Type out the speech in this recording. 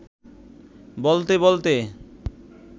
বলতে বলতে